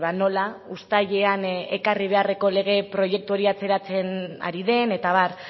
nola uztailean ekarri beharreko lege proiektu hori atzeratzen ari den eta abar